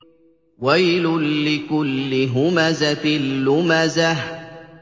وَيْلٌ لِّكُلِّ هُمَزَةٍ لُّمَزَةٍ